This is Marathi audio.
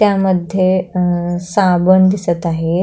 त्यामध्ये अ साबन दिसत आहे.